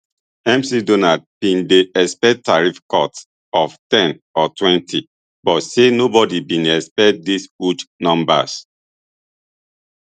mcdonald bin dey expect tariff cuts of ten or twenty but say nobody bin expect these huge numbers